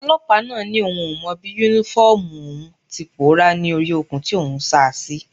Ọlọ́pàá náà ni òun ò mọ bí Únífọ́ọ̀mù òun ti pòórá ni ori okùn tí òun sá a sí